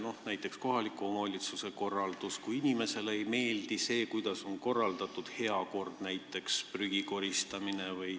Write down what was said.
Võtame näiteks kohaliku omavalitsuse tasandi, kui inimesele ei meeldi see, kuidas on korraldatud näiteks heakord, prügi koristamine.